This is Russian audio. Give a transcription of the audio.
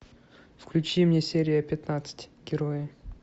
включи мне серия пятнадцать герои